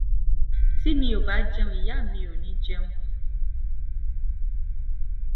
tí mi ò bá jẹun ìyá mi ò ní í jẹun